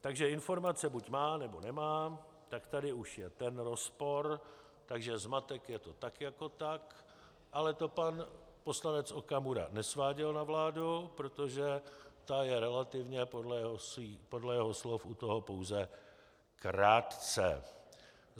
Takže informace buď má, nebo nemá, tak tady už je ten rozpor, takže zmatek je tu tak jako tak, ale to pan poslanec Okamura nesváděl na vládu, protože ta je relativně, podle jeho slov, u toho pouze krátce.